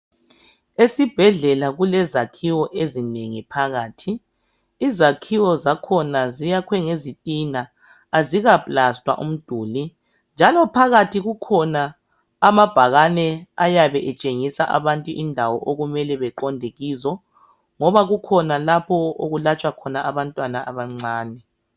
Esibhedlela kulezakhiwo ezinengi phakathi izakhiwo ziyakhwe ngezitina azika plaster umduli njalo phakathi kukhona amabhakani ayabe etshengisa abantu indawo okumele beqonde kizo ngoba kukhona lapho okulatshwa khona abantwana abancani